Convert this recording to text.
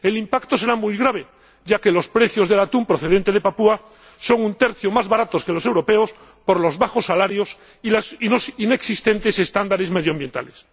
El impacto será muy grave, ya que los precios del atún procedente de Papúa Nueva Guinea son un tercio más baratos que los europeos, por los bajos salarios y los inexistentes estándares medioambientales.